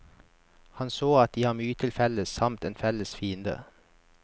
Han så at de har mye til felles samt en felles fiende.